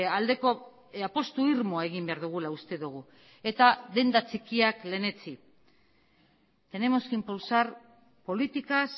aldeko apustu irmoa egin behar dugula uste dugu eta denda txikiak lehenetsi tenemos que impulsar políticas